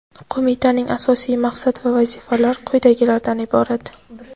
Qo‘mitaning asosiy maqsad va vazifalari quyidagilardan iborat:.